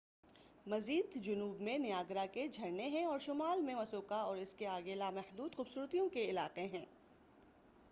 مزید جنوب میں نیاگرا کے جھرنے ہیں اور شمال میں مسکوکا اور اس سے آگے لامحدود خوبصورتیوں کے علاقے ہیں